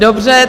Dobře.